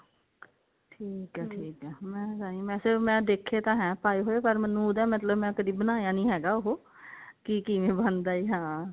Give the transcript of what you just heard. ਠੀਕ ਏ ਠੀਕ ਏ ਮੈਂ ਵੇਸੇ ਦੇਖੇ ਤਾਂ ਹੈ ਪਾਏ ਹੋਏ ਪਰ ਮੈਨੂੰ ਉਹਦਾ ਮਤਲਬ ਮੈਂ ਕਦੀ ਬਣਾਇਆ ਨਹੀ ਹੈਗਾ ਉਹ ਕਿ ਕਿਵੇਂ ਬਣਦਾ ਹਾਂ